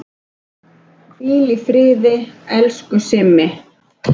Hvíl í friði, elsku Simmi.